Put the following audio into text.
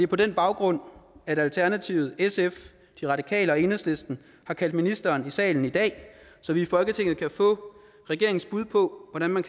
på den baggrund at alternativet sf de radikale og enhedslisten har kaldt ministeren i salen i dag så vi i folketinget kan få regeringens bud på hvordan man